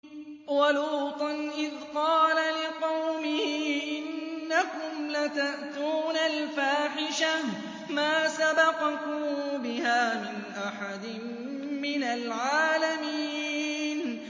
وَلُوطًا إِذْ قَالَ لِقَوْمِهِ إِنَّكُمْ لَتَأْتُونَ الْفَاحِشَةَ مَا سَبَقَكُم بِهَا مِنْ أَحَدٍ مِّنَ الْعَالَمِينَ